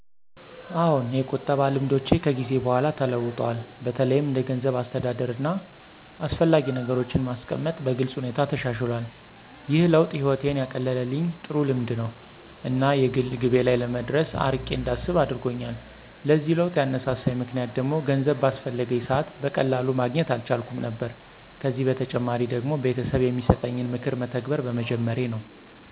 አዎን፣ የቁጠባ ልማዶቼ ከጊዜ በኋላ ተለውጠዋል። በተለይም እንደ ገንዘብ አስተዳደር፣ እና አስፈላጊ ነገሮችን ማስቀመጥ በግልጽ ሁኔታ ተሻሽሎል። ይህ ለውጥ ህይወቴን ያቀለልኝ ጥሩ ልምድ ነው እና የግል ግቤ ላይ ለመድረስ አርቄ እንዳስብ አደረጎኛል። ለዚህ ለውጥ ያነሳሳኝ ምክንያት ደግሞ ገንዘብ ባስፈለገኝ ሰዐት በቀላሉ ማግኘት አልቻልኩም ነበር ከዚ በተጨማሪ ደግሞ ቤተሰብ የሚሰጠኝን ምክር መተግበር በመጀመሬ ነው።